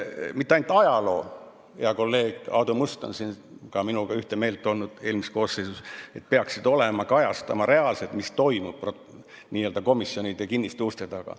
Mitte ainult ajaloo jaoks, hea kolleeg Aadu Must oli ka minuga ühte meelt eelmises koosseisus, et need peaksid kajastama reaalselt, mis toimub n-ö komisjonide kinniste uste taga.